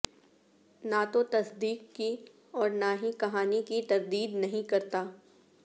نہ تو تصدیق کی اور نہ ہی کہانی کی تردید نہیں کرتا